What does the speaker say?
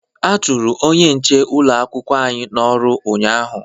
A chụrụ onye nche ụlọ akwụkwọ anyị n'ọrụ ụnyaahụ